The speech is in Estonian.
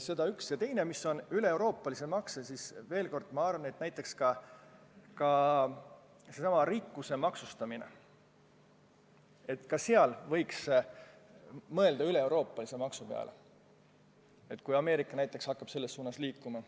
Mis puutub üleeuroopalistesse maksudesse, siis ma arvan, et ka sellesama rikkuse maksustamisel võiks mõelda üleeuroopalise maksu peale, kui Ameerika näiteks hakkab selles suunas liikuma.